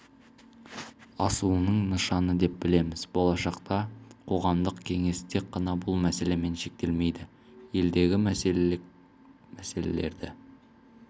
асуының нышаны деп білеміз болашақта қоғамдық кеңес тек қана бұл мәселемен шектелмейді елдегі мәселелік мәселелерді